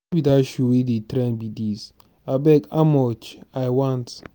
no be dat shoe wey dey trend be dis? abeg how much? i want.